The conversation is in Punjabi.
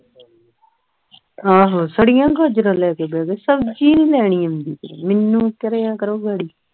ਆਹੋ ਸਾਡੀਆਂ ਗਾਜਰਾਂ ਲੈ ਕੇ ਬਹਿ ਗਏ ਸਬਜ਼ੀ ਨਹੀਂ ਲੈਣੀ ਆਦੀ ਮੈਨੂੰ ਕਰਿਆ ਕਰੋ ਗਾੜੀ